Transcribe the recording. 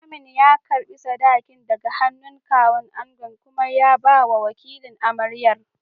Limamin ya karɓi sadakin daga hannun Kawun angon kuma ya bawa wakilin amaryar.